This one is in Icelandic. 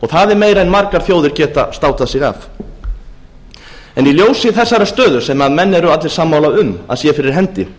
það er meira en margar þjóðir geta státað sig af í ljósi þessar stöðu sem menn eru allir sammála um að sé fyrir hendi